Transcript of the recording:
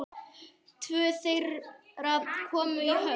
Tvö þeirra komu í höfn.